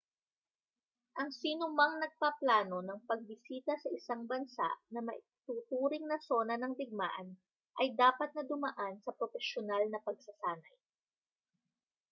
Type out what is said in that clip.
ang sinumang nagpaplano ng pagbisita sa isang bansa na maituturing na sona ng digmaan ay dapat na dumaan sa propesyonal na pagsasanay